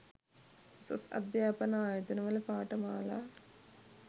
උසස් අධ්‍යාපන ආයතනවල පාඨමාලා